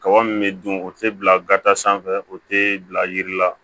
Kaba min bɛ dun o tɛ bila gata sanfɛ o tɛ bila yiri la